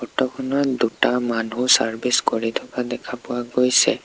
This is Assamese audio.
ফটো খনত দুটা মানুহ চাৰ্ভিচ কৰি থকা দেখা পোৱা গৈছে।